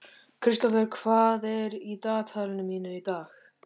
Kristófer, hvað er í dagatalinu mínu í dag?